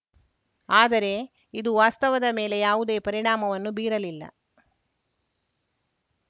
ಆದರೆ ಇದು ವಾಸ್ತವದ ಮೇಲೆ ಯಾವುದೇ ಪರಿಣಾಮವನ್ನು ಬೀರಲಿಲ್ಲ